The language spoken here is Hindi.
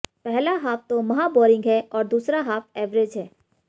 पहला हाफ तो महाबोरिंग है और दूसरा हाफ एवरेज है